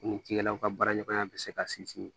Ni cikɛlaw ka baara ɲɔgɔnya bɛ se ka sinsin